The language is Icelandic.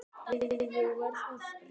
Jæja, ég verð að rjúka.